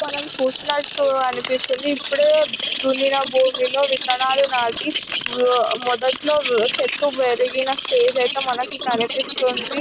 మనం చూసినట్టు అనిపిస్తుంది ఇప్పుడే దున్నినా భూమిలోని విత్తనాలు నాటి మొదట్లో చెట్ల పెరిగినా స్టేజ్లో అయితే మనకు అనిపిస్తుంది.